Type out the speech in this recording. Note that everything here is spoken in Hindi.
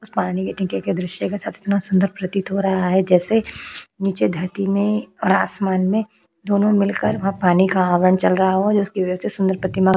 उस पानी के दृश्य इतना सुंदर प्रतीत हो रहा है। जैसे नीचे धरती में और आसमान मे दोनों में मिलकर वहाँ पानी का चल रहा हो। जिसकी वजह से सुंदर प्रतिमा --